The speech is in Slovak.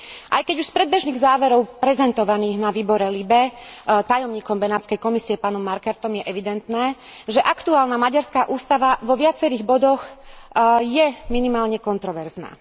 Aj keď už z predbežných záverov prezentovaných vo výbore LIBE tajomníkom Benátskej Komisie pánom Markertom je evidentné, že aktuálna maďarská ústava vo viacerých bodoch je minimálne kontroverzná.